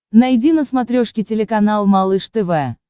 найди на смотрешке телеканал малыш тв